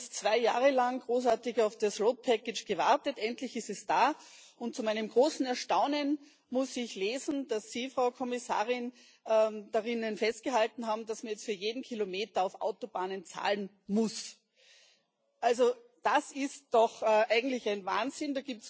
Wir haben jetzt zwei Jahre lang großartig auf das gewartet endlich ist es da. Zu meinem großen Erstaunen muss ich lesen, dass Sie, Frau Kommissarin, darin festgehalten haben, dass man jetzt für jeden Kilometer auf Autobahnen zahlen muss Also, das ist doch eigentlich ein Wahnsinn.